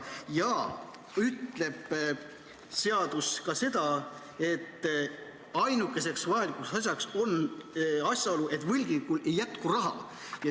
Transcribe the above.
Seadus ütleb ka seda, et ainukeseks vajalikuks asjaoluks on see, et võlgnikul ei jätku raha.